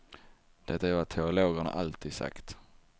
Det är vad teologerna alltid sagt.